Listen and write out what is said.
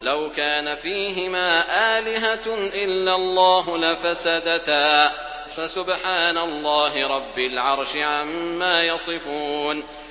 لَوْ كَانَ فِيهِمَا آلِهَةٌ إِلَّا اللَّهُ لَفَسَدَتَا ۚ فَسُبْحَانَ اللَّهِ رَبِّ الْعَرْشِ عَمَّا يَصِفُونَ